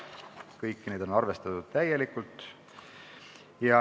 Kõik need on arvestatud täielikult.